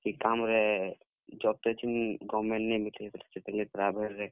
ଇ କାମ୍ ରେ, job ଟେ ଏଛିନ୍ government ନେଇ ମିଲେ ବେଲେ, ସେଥିର ଲାଗି private ରେ।